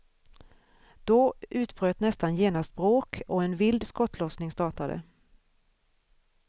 Då utbröt nästan genast bråk och en vild skottlossning startade.